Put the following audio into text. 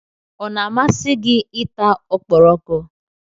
Ọ na-amasị gị ị ta ọkpọrọko?